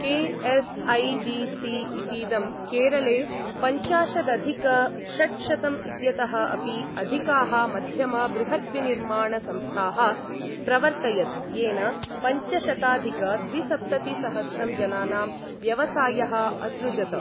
KSIDC. इतीदं केरले पञ्चाशदधिक षट्शतं इत्यतः अपि अधिकाः मध्यम बृहद्विनिर्माणसंस्थाः प्रावर्तयत्, येन पञ्चशताधिक द्विसप्ततिसहस्रं जनानां व्यवसायः असृजत।